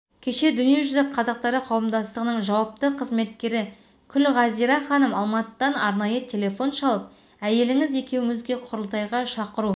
кеше дүниежүзі қазақтары қауымдастығының жауапты қызметкері күлғазира ханым алматыдан арнайы телефон шалып әйеліңіз екеуіңізге құрылтайға шақыру